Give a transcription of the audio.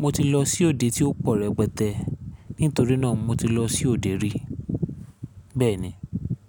mo ti lọ sí òde tí ó pọ̀ rẹpẹtẹ. Nítorí náà mo ti lọ sí òde rí, bẹ́ẹ̀ni.